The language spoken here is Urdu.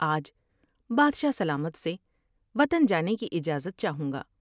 آج بادشاہ سلامت سے وطن جانے کی اجازت چاہوں گا ۔